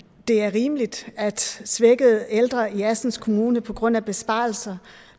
det er rimeligt at svækkede ældre i assens kommune på grund af besparelser